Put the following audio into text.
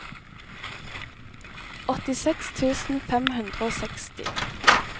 åttiseks tusen fem hundre og seksti